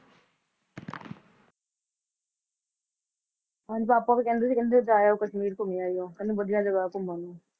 ਹਾਂਜੀ ਪਾਪਾ ਵੀ ਕਹਿੰਦੇ ਸੀ ਕਹਿੰਦੇ ਜਾਏ ਆਓ ਕਸ਼ਮੀਰ ਘੁੰਮੇ ਆਇਓ, ਕਹਿੰਦੇ ਵਧੀਆ ਜਗ੍ਹਾ ਘੁੰਮਣ ਨੂੰ,